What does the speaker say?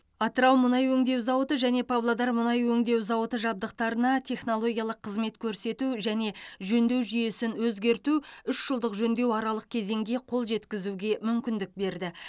атырау мұнай өңдеу зауыты және павлодар мұнай өңдеу зауыты жабдықтарына технологиялық қызмет көрсету және жөндеу жүйесін өзгерту үш жылдық жөндеу аралық кезеңге қол жеткізуге мүмкіндік берді